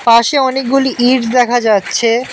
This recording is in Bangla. পাশে অনেকগুলি ইট দেখা যাচ্ছে।